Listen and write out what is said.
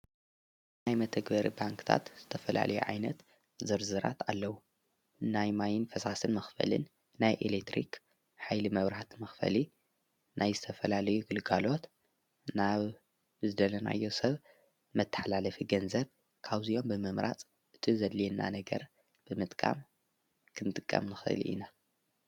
ናይ መተግበር ባንክታት ዝተፈላልዮ ዓይነት ዝርዝራት ኣለዉ ናይ ማይን ፍሳስን መኽፈልን ናይ ኤሌትሪኽ ኃይሊ መብራህት መኽፈሊ ናይ ዝተፈላልዩ ግልጋሎት ናብ ዝደለናዮ ሰብ መተሕላለፊ ገንዘብ ካውዚኦም ብምምራጽ እቲ ዘድልየና ነገር ብምጥቃም ኽንጥቀም ንኽእል ኢና።